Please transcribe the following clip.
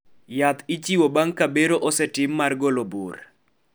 yath ichiwo bang' ka bero osetim mar golo bur